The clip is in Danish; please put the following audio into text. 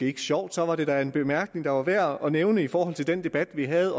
ikke sjovt så da en bemærkning der var værd at nævne i forhold til den debat vi havde